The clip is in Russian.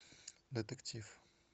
детектив